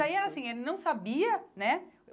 Mas, aí, assim, ele não sabia, né?